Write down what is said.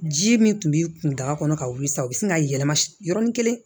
Ji min tun bɛ kun daga kɔnɔ ka wuli sisan o bi sin ka yɛlɛma yɔrɔnin kelen